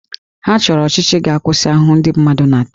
Ha chọrọ ọchịchị ga-akwụsị ahụhụ ndị mmadụ na-ata